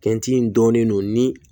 Kɛnti in dɔɔnin don ni